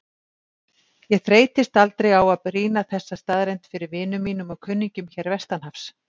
Ég þreytist aldrei á að brýna þessa staðreynd fyrir vinum mínum og kunningjum hér vestanhafs.